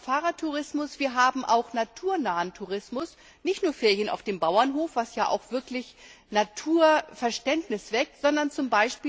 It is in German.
Wir haben Fahrradtourismus, wir haben auch naturnahen Tourismus, nicht nur Ferien auf dem Bauernhof, die ja auch wirklich Naturverständnis wecken, sondern z.